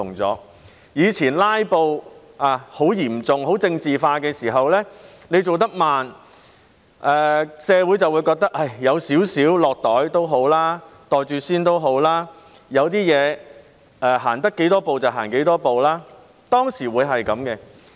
過去當"拉布"情況很嚴重，凡事變得很政治化時，政府做事慢，社會會認為"有少少落袋"、"袋住先"也好，有些事能走多少步便走多少步，當時社會是這樣的。